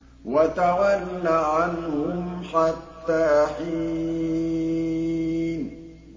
وَتَوَلَّ عَنْهُمْ حَتَّىٰ حِينٍ